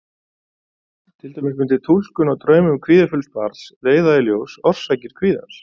Til dæmis mundi túlkun á draumum kvíðafulls barns leiða í ljós orsakir kvíðans.